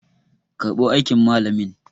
karbo aikin malamin!